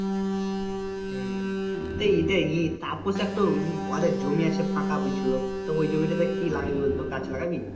তাপস একটা জমি আছে ফাঁকা বলছিল তো ওই জমি টা তে কি লাগাবি বলতো গাছ লাগাবি?